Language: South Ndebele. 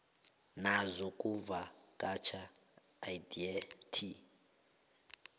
nezokuvakatjha idea t